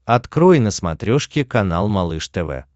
открой на смотрешке канал малыш тв